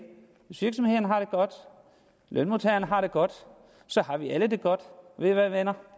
hvis virksomhederne har det godt lønmodtagerne har det godt så har vi alle det godt og ved i hvad venner